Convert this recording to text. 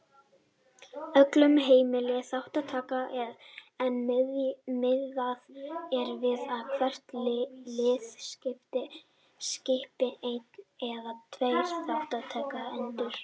Öllum heimil þátttaka en miðað er við að hvert lið skipi einn eða tveir þátttakendur.